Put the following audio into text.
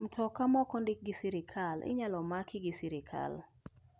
Mtoka ma ok ondiki gi sirkal inyal maki gi sirkal.